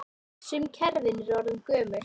Sum kerfin eru orðin gömul.